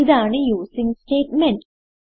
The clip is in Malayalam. ഇതാണ് യൂസിങ് സ്റ്റേറ്റ്മെന്റ്